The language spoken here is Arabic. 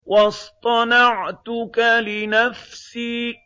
وَاصْطَنَعْتُكَ لِنَفْسِي